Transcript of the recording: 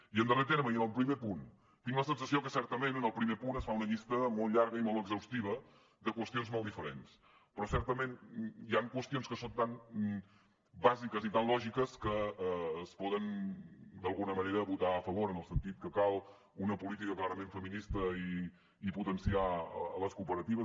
i en darrer terme i en el primer punt tinc la sensació que certament en el primer punt es fa una llista molt llarga i molt exhaustiva de qüestions molt diferents però certament hi han qüestions que són tan bàsiques i tan lògiques que es poden d’alguna manera votar a favor en el sentit que cal una política clarament feminista i potenciar les cooperatives